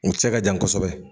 U cɛ ka jan kosɛbɛ